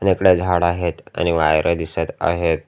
आणि इकडे झाड आहेत आणि वायर ही दिसत आहेत.